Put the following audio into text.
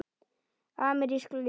Amerísk jól.